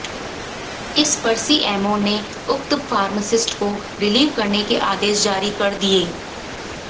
इस पर सीएमओ ने उक्त फार्मासिस्ट को रिलीव करने के आदेश जारी कर दिये